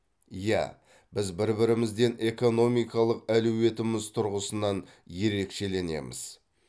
иә біз бір бірімізден экономикалық әлеуетіміз тұрғысынан ерекшеленеміз